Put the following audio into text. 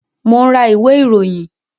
Mo ń ra ìwé ìròyìn